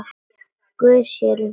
Guð sér um sína.